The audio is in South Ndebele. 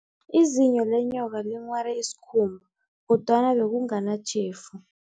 Izinyo lenyoka linghware isikhumba, kodwana bekunganatjhefu.